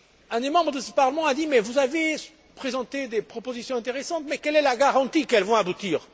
Un des membres de ce Parlement a dit Vous avez présenté des propositions intéressantes mais quelle est la garantie qu'elles vont aboutir?.